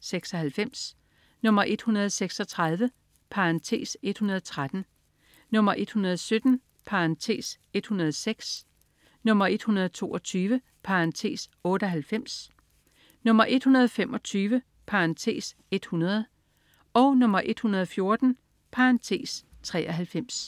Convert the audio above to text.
(96), 136 (113), 117 (106), 122 (98), 125 (100), 114 (93)